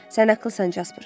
Sən ağlısan, Casper.